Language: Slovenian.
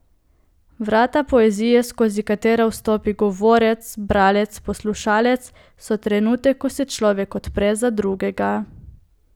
Vrata poezije, skozi katera vstopi govorec, bralec, poslušalec, so trenutek, ko se človek odpre za drugega.